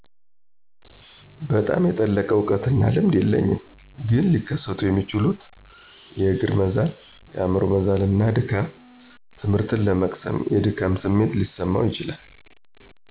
በጣም የጠለቀ እውቀትና ልምድ የለኝም ግን ሊከሰቱ የሚችሉት የእግር መዛል፣ የአምሮ መዛልና ድካም፣ ትምህርት ለመቅሰም የድካም ስሜት ሊሰማው ይችላል።